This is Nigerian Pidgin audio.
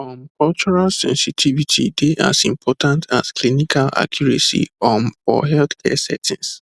um cultural sensitivity dey as important as clinical accuracy um for healthcare settings